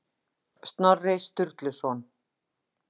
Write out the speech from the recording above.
Snorri Sturluson.